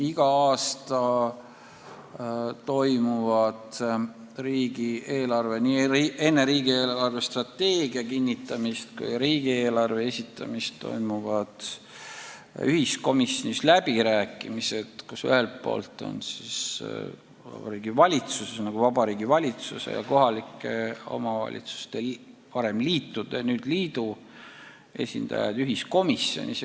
Igal aastal toimuvad enne riigi eelarvestrateegia kinnitamist ja riigieelarve esitamist ühiskomisjonis läbirääkimised, kus ühelt poolt on Vabariigi Valitsuse ja teiselt poolt kohalike omavalitsuste liitude, nüüd siis liidu esindajad.